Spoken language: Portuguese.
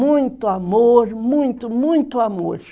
Muito amor, muito, muito amor.